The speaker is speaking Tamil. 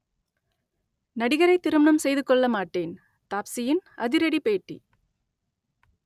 நடிகரை திருமணம் செய்து கொள்ள மாட்டேன் தாப்ஸியின் அதிரடி பேட்டி